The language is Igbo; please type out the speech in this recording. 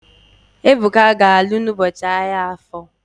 Ebuka ga-alụ n'ụbọchị ahia Afọ